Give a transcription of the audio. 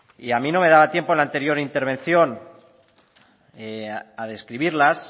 y a mí no me daba tiempo en el anterior intervención a describirlas